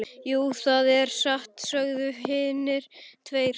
Jú, það er satt, sögðu hinar tvær.